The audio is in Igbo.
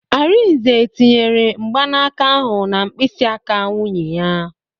Arinze tinyere mgbanaka ahụ na mkpịsị aka nwunye ya